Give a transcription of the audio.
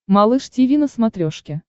малыш тиви на смотрешке